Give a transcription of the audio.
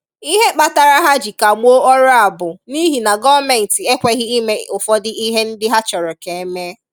Ihe kpatara ha ji kagbuo ọrụ a bụ n’ihi na gọọmenti ekweghị ime ụfọdụ ihe ndị ha chọrọ ka eme.